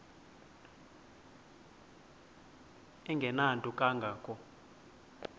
engenanto kanga ko